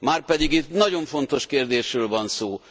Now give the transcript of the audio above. Márpedig itt nagyon fontos kérdésről van szó!